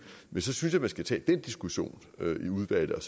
men så synes jeg at man skal tage den diskussion i udvalget